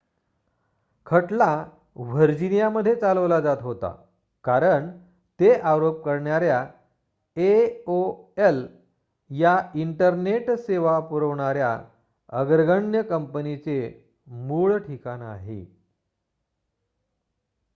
खटला व्हर्जिनियामध्ये चालवला जात होता कारण ते आरोप करणाऱ्या aol या इंटरनेट सेवा पुरवणाऱ्या अग्रगण्य कंपनीचे मूळ ठिकाण आहे